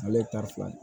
Ale fila